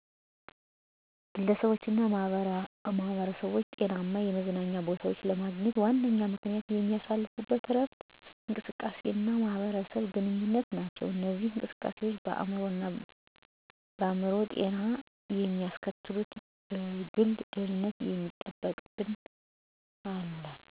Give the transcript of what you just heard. ግለሰቦችና ማኅበረሰቦች ጤናማ የመዝናኛ ቦታዎችን ለማግኘት ዋነኛ ምክንያቶች የሚያሳልፉት እረፍት፣ እንቅስቃሴ እና ማህበረሰብ ግንኙነት ናቸው። እነዚህ እንቅስቃሴዎች በአእምሮ ጤና የሚያስተካክሉ፣ በግል ደህንነት የሚጠብቁ እና በምርታማነት የሚያሳድሩ ተጽዕኖ አላቸው።